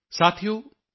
thank you thank you